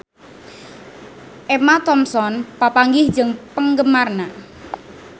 Emma Thompson papanggih jeung penggemarna